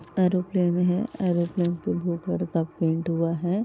Aeroplane भी है। Aeroplane पे ब्लू कलर का पेंट हुआ है।